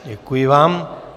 Děkuji vám.